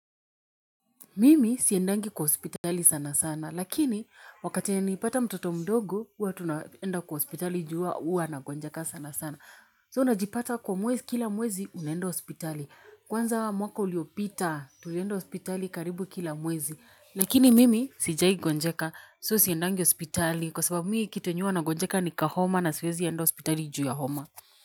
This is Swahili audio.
Mimi siendangi kwa hospitali sana sana, lakini wakati nilipata mtoto mdogo, huwa tunaenda kwa hospitali juu huwa huwa anagonjeka sana sana. So, unajipata kwa mwezi, kila mwezi unaenda hospitali. Kwanza mwaka uliopita, tulienda hospitali karibu kila mwezi. Lakini mimi sijai gonjeka, so siendangi hospitali, kwa sababu kitu yenye hua nagonjeka ni kahoma na siwezi enda hospitali juu ya homa.